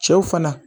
Cɛw fana